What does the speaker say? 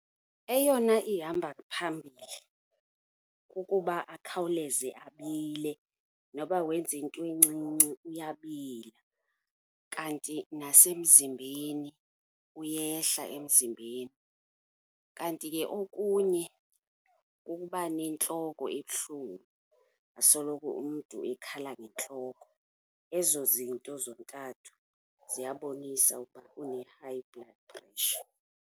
Eyona ihamba phambili kukuba akhawuleze abile, noba wenze into encinci uyabila, kanti nasemzimbeni, uyehla emzimbeni. Kanti ke okunye kukuba nentloko ebuhlungu, asoloko umntu ekhala ngentloko. Ezo zinto zontathu ziyabonisa ukuba une-high blood pressure.